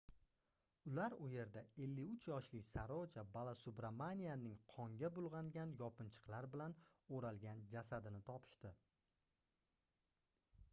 ular u yerda 53 yoshli saroja balasubramanianning qonga bulgʻangan yopinchiqlar bilan oʻralgan jasadini topishdi